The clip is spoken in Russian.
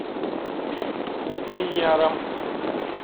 миньяром